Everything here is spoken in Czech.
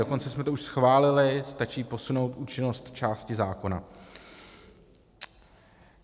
Dokonce jsme to už schválili, stačí posunout účinnost části zákona.